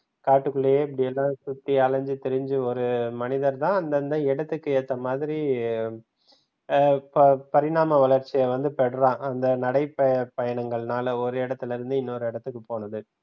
காட்டுக்குள்ளே இப்படி எல்லாம் சுத்தி அலஞ்சி திரிஞ்சி ஒரு மனிதர் தான் அந்தந்த இடத்துக்கு ஏத்த மாதிர பரிணாம வளர்ச்சி பெறுறான் அந்த நடை பயணங்கள்னால, ஒரு இடத்திலிருந்து இன்னொரு இடத்துக்கு போனது.